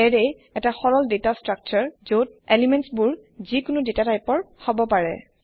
এৰে এটা সৰল দাতা স্ত্ৰাকছাৰ যত এলিমেন্টবোৰ যি কোনো দাতা টাইপৰ হব পাৰে